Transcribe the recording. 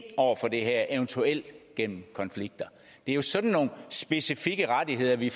over for det her eventuelt gennem konflikter det er jo sådan nogle specifikke rettigheder vi